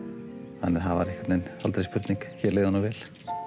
þannig að það var einhvern veginn aldrei spurning hér leið honum vel